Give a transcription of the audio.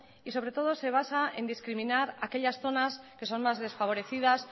y sobre todo se basa en discriminar aquellas zonas que son más desfavorecidas